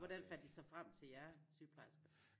Hvordan fandt de så frem til jer sygeplejerskerne?